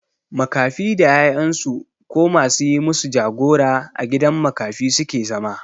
Makafi da 'ya'yan su ko ma su yi masu jagora a gidan makafi su ke zama.